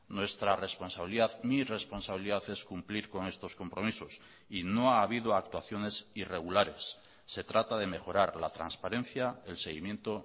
nuestra responsabilidad mi responsabilidad es cumplir con estos compromisos y no ha habido actuaciones irregulares se trata de mejorar la transparencia el seguimiento